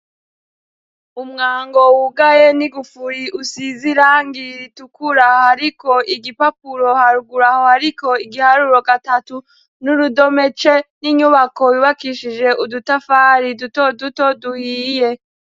Umwango wugaye n'igufuri usize irangi ritukura hariko igipapuro. Haruguru aho hariko igiharuro gatatu n'urudome c n' inyubako yubakishije udutafari dutoduto duhiye.